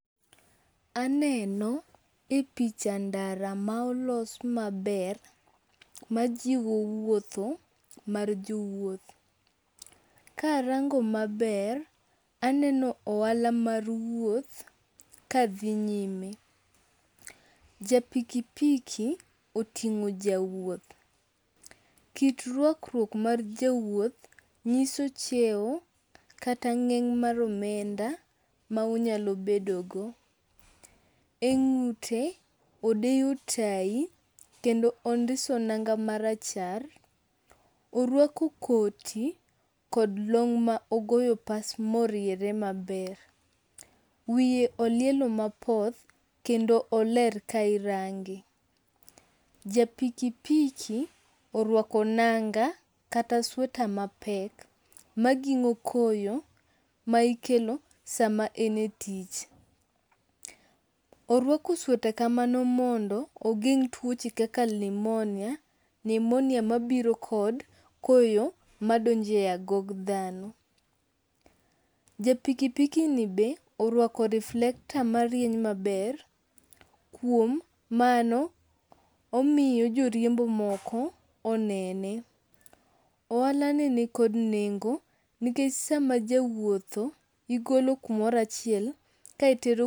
Aneno e picha ndara ma olos maber ma ji wuotho mar jowuoth. Karango maber, aneno ohala mar wuoth kadhi nyime. Ja pikipiki oting'o jawuoth, kit rwakruok mar jawuoth nyiso cheo kata ng'eng' mar omenda ma onyalo bedogo. E ng'ute odeyo tai kendo ondiso nanga marachar, orwako koti kod long ma ogoyo pas moriere maber. Wiye olielo mapoth kendo oler ka irange. Ja pikipiki orwako nanga kata sweta mapek maging'o koyo ma ikelo sama en e tich. Orwako sweta kamano mondo ogeng' tuoche kaka limonia nimonia mabiro kod koyo madonjo e agog dhano. Ja pikipiki ni be orwako reflector marieny maber, kuom mano omiyo joriembo moko onene. Ohalani nikod nengo nikech sama jawuotho igolo kamoro achiel ka itero..